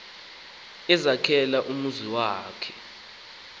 ezakhela umzi wakhe